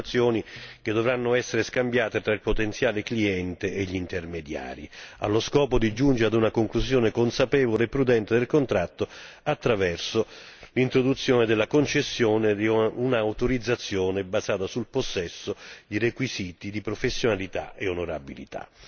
di informazioni, che dovranno essere scambiate fra il potenziale cliente e gli intermediari allo scopo di giungere a una conclusione consapevole e prudente del contratto attraverso l'introduzione della concessione di un'autorizzazione basata sul possesso di requisiti di professionalità e onorabilità.